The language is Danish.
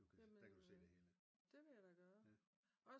Der kan du se det hele